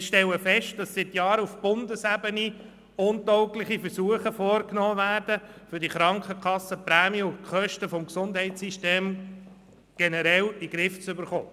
Wir stellen fest, dass auf Bundesebene seit Jahren untaugliche Versuche unternommen werden, um die Krankenkassenprämien und die Kosten des Gesundheitssystems generell in den Griff zu bekommen.